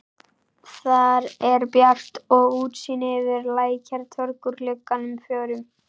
Þar er bjart og útsýni yfir Lækjartorg úr gluggunum fjórum.